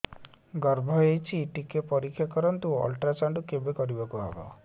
ଗର୍ଭ ହେଇଚି ଟିକେ ପରିକ୍ଷା କରନ୍ତୁ ଅଲଟ୍ରାସାଉଣ୍ଡ କେବେ କରିବାକୁ ହବ